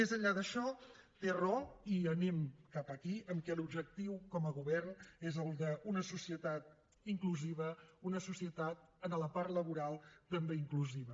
més enllà d’això té raó i anem cap aquí que l’objectiu com a govern és el d’una societat inclusiva una societat en la part laboral també inclusiva